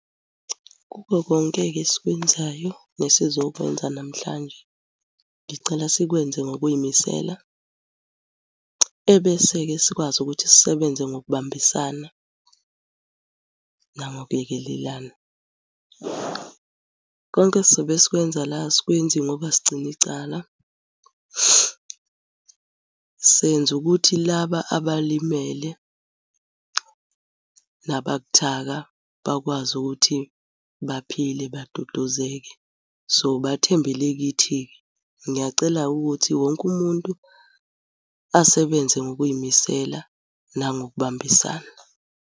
Kukho konke-ke esikwenzayo nesizokwenza namhlanje ngicela sikwenze ngokuy'misela, ebese-ke sikwazi ukuthi sisebenze ngokubambisana nangokulekelelana. Konke esizobe sikwenza la asikwenzi ngoba sigcina icala, senza ukuthi laba abalimele nababuthaka bakwazi ukuthi baphile baduduzeke. So, bathembele kithi-ke. Ngiyacela-ke ukuthi wonke umuntu asebenze ngokuy'misela nangokubambisana.